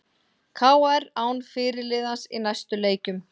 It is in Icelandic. KR án fyrirliðans í næstu leikjum